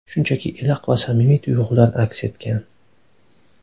Shunchaki iliq va samimiy tuyg‘ular aks etgan.